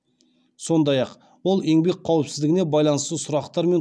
сондай ақ ол еңбек қауіпсіздігіне байланысты сұрақтармен